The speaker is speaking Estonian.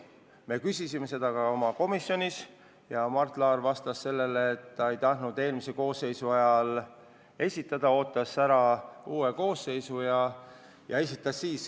Me küsisime selle kohta ka komisjonis ja Mart Laar vastas, et ta ei tahtnud nõukogu liikmeid eelmise koosseisu ajal esitada, ootas ära uue koosseisu ja esitas siis.